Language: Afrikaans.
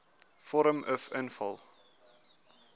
vorm uf invul